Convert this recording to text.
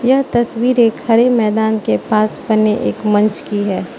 यह तस्वीर एक हरे मैदान के पास बने एक मंच की है।